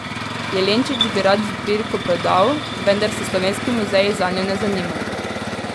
Jelenčič bi rad zbirko prodal, vendar se slovenski muzeji zanjo ne zanimajo.